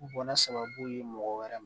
Bana sababu ye mɔgɔ wɛrɛ ma